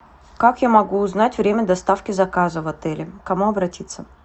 как я могу узнать время доставки заказа в отеле к кому обратиться